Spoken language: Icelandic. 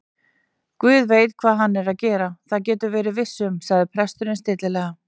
Guð veit hvað hann er að gera, það geturðu verið viss um- sagði presturinn stillilega.